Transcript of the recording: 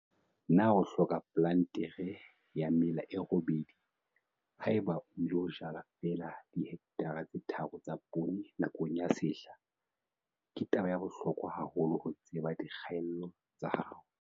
Na o hloka plantere ya mela e robedi ha eba o ilo jala feela dihekthara tse tharo tsa poone nakong ya sehla? Ke taba ya bohlokwa haholo ho tseba dikgaello tsa hao.